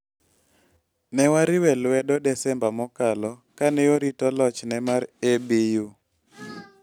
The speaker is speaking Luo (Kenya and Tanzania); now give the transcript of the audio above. "Ne wariwe lwedo Desemba mokalo kane orito lochne mar ABU.